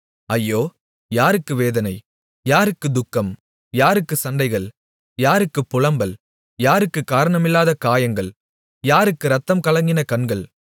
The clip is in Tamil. ஐயோ யாருக்கு வேதனை யாருக்குத் துக்கம் யாருக்குச் சண்டைகள் யாருக்குப் புலம்பல் யாருக்குக் காரணமில்லாத காயங்கள் யாருக்கு இரத்தம்கலங்கின கண்கள்